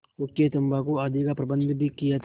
हुक्केतम्बाकू आदि का प्रबन्ध भी किया था